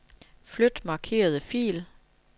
Flyt markerede fil.